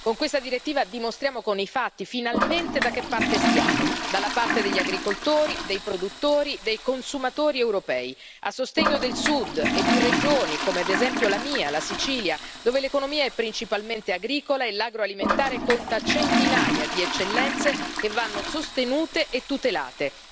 Con questa direttiva dimostriamo con i fatti, finalmente, da che parte stiamo dalla parte degli agricoltori, dei produttori, dei consumatori europei, a sostegno del sud e di regioni come ad esempio la mia, la Sicilia dove l'economia è principalmente agricola e l'agroalimentare conta centinaia di eccellenze che vanno sostenute e tutelate.